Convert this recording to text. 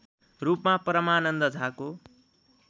रूपमा परमानन्द झाको